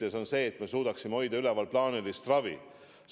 Ja see on see, et me suudaksime hoida üleval plaanilist ravi.